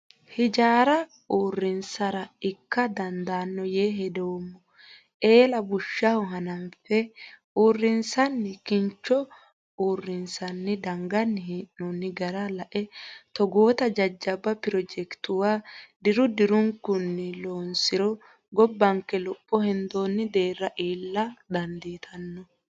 Hijaara uurrinsara ikka dandaano yee hedoommo eella bushaho hananfe usuranni kincho uurrinsanni danganni hee'nonni gara lae togotta jajjabba pirojekituwa diru dirunkunni loonsiro gobbanke lopho heendonni deerra iilla dandiittano.